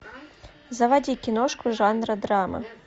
заводи киношку жанра драма